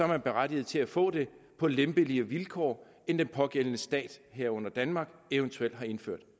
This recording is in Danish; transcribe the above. man berettiget til at få det på lempeligere vilkår end den pågældende stat herunder danmark eventuelt har indført